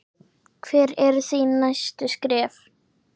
Hver eru þín næstu skref?